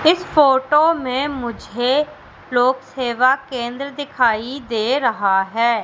इस फोटो मुझे लोक सेवा केंद्र दिखाई दे रहा है।